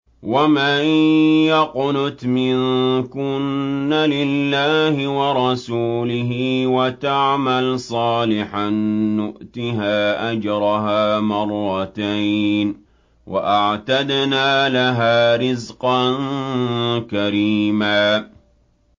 ۞ وَمَن يَقْنُتْ مِنكُنَّ لِلَّهِ وَرَسُولِهِ وَتَعْمَلْ صَالِحًا نُّؤْتِهَا أَجْرَهَا مَرَّتَيْنِ وَأَعْتَدْنَا لَهَا رِزْقًا كَرِيمًا